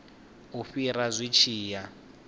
u fhira zwi tshi ya